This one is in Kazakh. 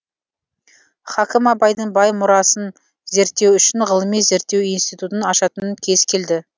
хакім абайдың бай мұрасын зерттеу үшін ғылыми зерттеу институтын ашатын кез келді